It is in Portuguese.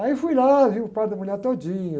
Aí fui lá, vi o parto da mulher todinha.